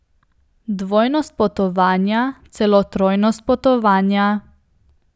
Dvojnost potovanja, celo trojnost potovanja.